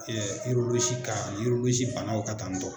kan banaw kan tan tɔ